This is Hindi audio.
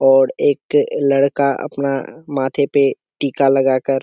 और एक लड़का अपना माथे पे टिका लगाकर --